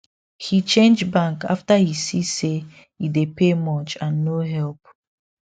he change bank after he see say e dey pay much and no help